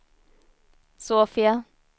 Sofia